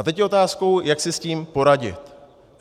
A teď je otázkou, jak si s tím poradit.